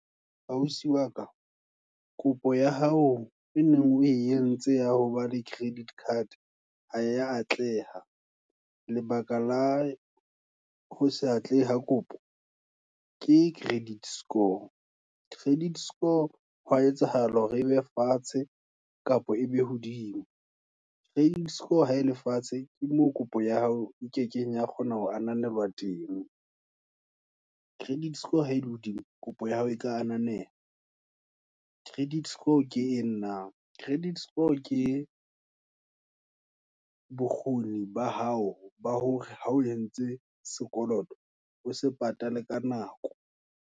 Ausi waka, kopo ya hao, e neng o entse ya hoba le credit card, haya atleha, lebaka la ho sa atlehe ha kopo, ke credit score, credit score hwa etsahala hore ebe fatshe, kapa e be hodimo. Credit score ha ele fatshe, ke moo kopo ya hao e keke ya kgona ho ananela teng, credit score ha e hodimo, kopo ya hao, e ka ananela. Credit score ke eng naa, credit score, ke bokgoni ba hao, ba hore ha o entse sekoloto, o se patale ka nako.